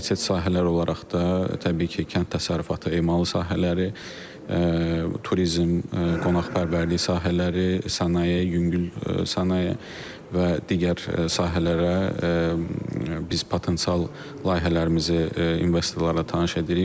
Prioritet sahələr olaraq da, təbii ki, kənd təsərrüfatı, emalı sahələri, turizm, qonaqpərvərlik sahələri, sənaye, yüngül sənaye və digər sahələrə biz potensial layihələrimizi investorlara tanış edirik.